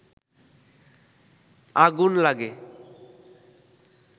আগুন লাগে